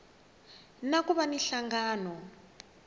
na ku va na nhlangano